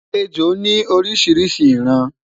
ẹjọ ni orishirishi iran